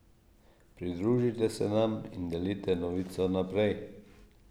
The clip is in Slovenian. Pridružite se nam in delite novico naprej.